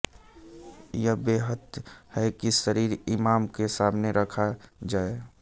यह बेहतर है कि शरीर इमाम के सामने रखा जाए